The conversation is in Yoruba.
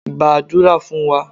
gbadura fun wa!